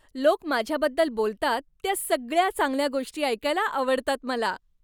लोक माझ्याबद्दल बोलतात त्या सगळ्या चांगल्या गोष्टी ऐकायला आवडतात मला.